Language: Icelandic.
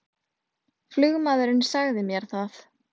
Flugmaðurinn sagði mér það